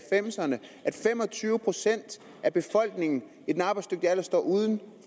fem og tyve procent af befolkningen i den arbejdsdygtige alder står uden